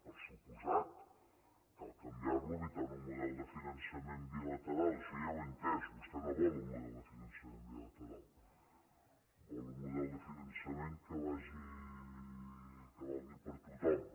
per descomptat cal canviar lo evitant un model de finançament bilateral això ja ho he entès vostè no vol un model de finançament bilateral vol un model de finançament que valgui per a tothom